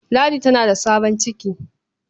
Ladi tana da sabon ciki.